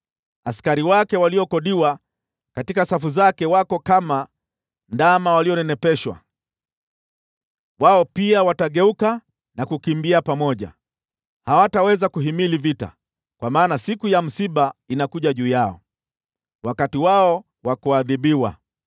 Askari wake waliokodiwa katika safu zake wako kama ndama walionenepeshwa. Wao pia watageuka na kukimbia pamoja, hawataweza kuhimili vita, kwa maana siku ya msiba inakuja juu yao, wakati wao wa kuadhibiwa.